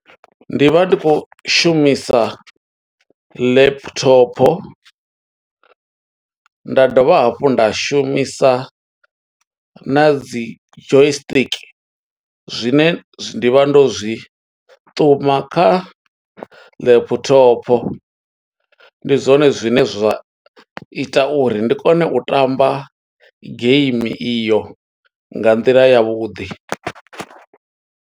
Ndi vha ndi khou shumisa laptop, nda dovha hafhu nda shumisa na dzi joy stick, zwine ndi vha ndo zwi ṱuma kha laptop. Ndi zwone zwine zwa ita uri ndi kone u tamba game iyo, nga nḓila yavhuḓi.